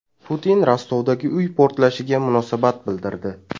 Putin Rostovdagi uy portlashiga munosabat bildirdi.